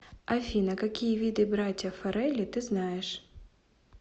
афина какие виды братья фаррелли ты знаешь